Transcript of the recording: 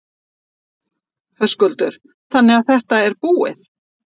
Höskuldur: Þannig að þetta er búið?